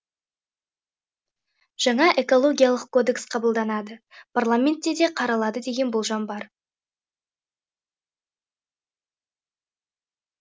жаңа экологиялық кодекс қабылданады парламентте де қаралады деген болжам бар